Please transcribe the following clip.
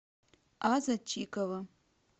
аза чикова